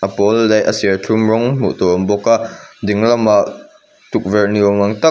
a pawl leh a serthlum rawng hmuh tur awm bawka ding lamah tukverh ni awm ang tak.